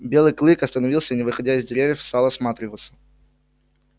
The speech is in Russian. белый клык остановился и не выходя из деревьев стал осматриваться